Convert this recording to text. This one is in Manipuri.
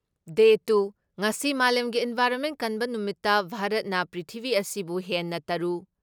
ꯗꯦ ꯇꯨ ꯉꯁꯤ ꯃꯥꯂꯦꯝꯒꯤ ꯏꯟꯚꯥꯏꯔꯣꯟꯃꯦꯟ ꯀꯟꯕ ꯅꯨꯃꯤꯠꯇ ꯚꯥꯔꯠꯅ ꯄ꯭ꯔꯤꯊꯤꯕꯤ ꯑꯁꯤꯕꯨ ꯍꯦꯟꯅ ꯇꯔꯨ